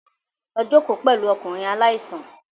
Lọ jókòó pẹ̀lú ọkùnrin aláìsàn